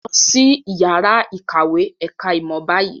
Lọ sí ìyàrá-ìkàwé ẹ̀ka-ìmọ̀ báyìí!